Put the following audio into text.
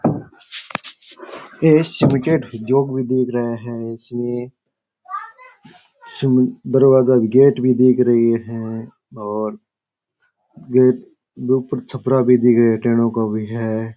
इस बिकेट जोग भी दिख रहे है इसमे सिमन्ट दरवाजा गेट भी दिख रहे है और गेट ऊपर छपरा भी दिख रहे है टेनो का भी है।